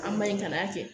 An ba ye ka n'a kɛ